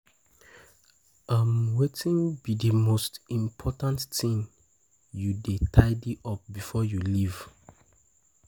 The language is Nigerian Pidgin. um Wetin be di most important thing you dey um tidy up before you leave? um